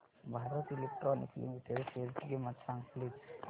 Bharat Electronics Limited शेअरची किंमत सांगा प्लीज